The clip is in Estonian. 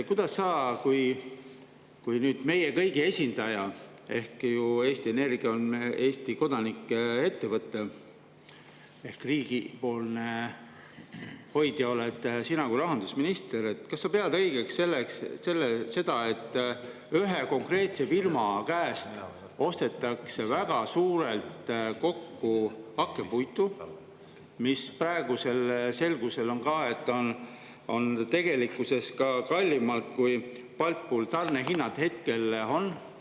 Kas sa kui meie kõigi esindaja – Eesti Energia on Eesti kodanike ettevõte, aga selle riigipoolne hoidja oled sina kui rahandusminister – pead õigeks seda, et ühe konkreetse firma käest ostetakse väga suures mahus hakkepuitu,, nagu praegu on selgunud, tegelikult kallimalt, kui Baltpooli tarnehinnad hetkel on?